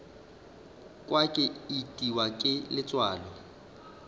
kwa ke itiwa ke letswalo